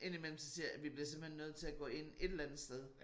Indimellem så siger jeg vi bliver simepelthen nødt til at gå ind et eller andet sted